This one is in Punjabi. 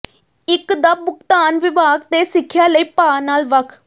ਇੱਕ ਦਾ ਭੁਗਤਾਨ ਵਿਭਾਗ ਤੇ ਸਿੱਖਿਆ ਲਈ ਭਾਅ ਨਾਲ ਵੱਖ